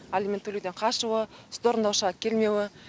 алимент төлеуден қашуы сот орындаушыға келмеуі